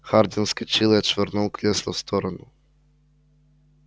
хардин вскочил и отшвырнул кресло в сторону